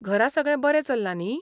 घरा सगळें बरें चल्लां न्ही?